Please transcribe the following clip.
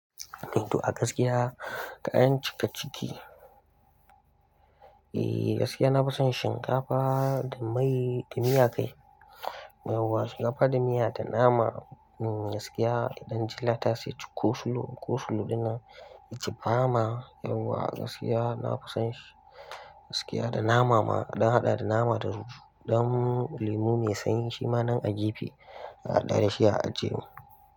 To a gaskiya, kayan cika ciki, eeh, gaskiya na fison shinkafa da mai da miya kai. Yauwa, shinkafa da miya da nama. Eeh, gaskiya i ɗan ji latas yaji kosulo, kosulo ɗinnan, iji bama, yauwa gaskiya na fison shi. Gaskiya da nama ma, a ɗan haɗa da nama da romo. Ɗan lemu mai sanyi shi ma nan a gefe, a haɗa da shi a ajiye mun.